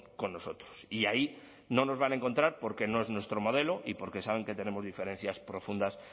con nosotros y ahí no nos van a encontrar porque no es nuestro modelo y porque saben que tenemos diferencias profundas